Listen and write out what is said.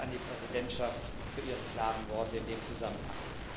Dank an die Präsidentschaft für ihre klaren Worte in dem Zusammenhang.